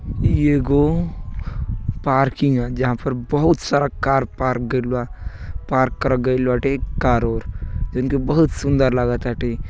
इ एगो पार्किंग है जहाँ पर बहुत सारा कार पार्क गईल बा पार्क करल गइल बा एक कार ओर जोंन की बहुत सुंदर लागत बाटे।